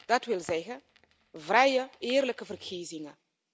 Dat wil zeggen vrije en eerlijke verkiezingen.